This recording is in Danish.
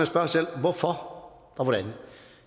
sig selv hvorfor og hvordan